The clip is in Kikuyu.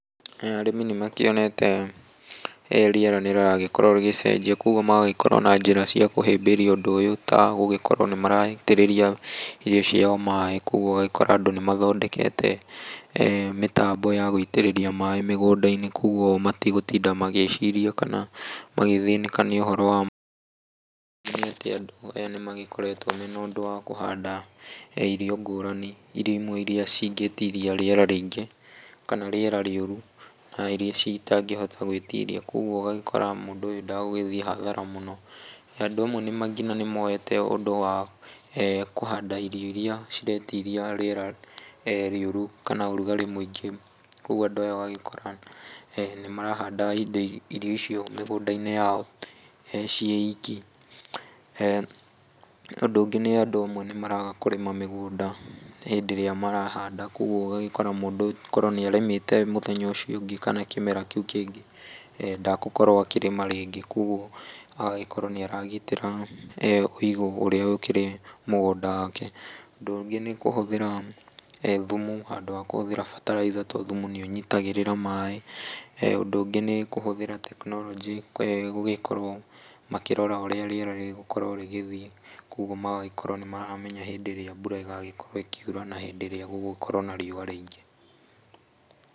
Aya arĩmi nĩ makĩonete rĩera nĩ rĩragĩkorwo rĩgĩcenjia, koguo magagĩkorwo na njĩra cia kũhĩmbĩria ũndũ ũyũ, ta gũgĩkorwo nĩ maraitĩrĩria irio ciao maĩ, koguo ũgagĩkora andũ nĩ mathondekete mĩtambo ya gũitĩrĩria maĩ mũgũnda-nĩ koguo matigũtinda magĩciria kana magĩthĩnĩka nĩ ũhoro wa maĩ, nĩ atĩ andũ aya nĩmagĩkoretwo mena ũndũ wa kũhanda irio ngũrani irio imwe iria ingĩĩtiria rĩera rĩingĩ kana rĩera rĩũru, na irio ici itangĩhota gwĩtiria koguo ũgagĩkora mũndũ ũyũ ndagũthiĩ hathara mũno, na andũ amwe nginya nĩ moete ũndũ wa kũhanda irio iria ciretiria rĩera rĩũru kana ũrugarĩ mũingĩ, ũguo andũ aya ũgagĩkora nĩ marahanda indo irio icio mĩgũnda-inĩ yao ciĩiki, ũndũ ũngĩ andũ amwe nĩ maraga kũrĩma mĩgũnda hĩndĩ ĩrĩa marahanda, koguo ũgagĩkora mũndũ korwo nĩ arĩmĩte mũthenya ũcio ũngĩ kana kĩmera kĩu kĩngĩ ndagũkorwo akĩrĩma rĩngĩ, koguo agagĩkorwo nĩ aragitĩra ũigũ ũrĩa ũkĩrĩ mũgũnda wake, ũndũ ũngĩ nĩ kũhũthĩra thumu handũ ha kũhũthĩra bataraitha tondũ thumu nĩũnyitagĩrĩra maĩ, ũndũ ũngĩ nĩ kũhũthĩra tekinoronjĩ gũgĩkorwo makĩrora ũrĩa rĩera rĩgũkorwo rĩgĩthiĩ, koguo magagĩkorwo nĩ maramenya hĩndĩ ĩrĩa mbura ĩgagĩkorwo ĩkiura na hĩndĩ ĩrĩa gũgũkorwo na riũa rĩingĩ.